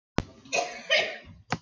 Man bara að hann var að skoða þá.